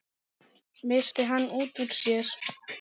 missti hann út úr sér.